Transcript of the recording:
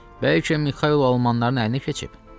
Bəlkə Mixaylo almanların əyninə keçib?